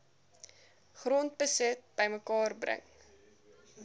grondbesit bymekaar bring